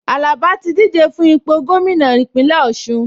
Àlàbá ti díje fún ipò gómìnà Ìpínlẹ̀ Ọ̀ṣun